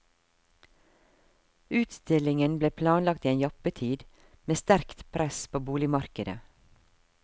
Utstillingen ble planlagt i en jappetid, med sterkt press på boligmarkedet.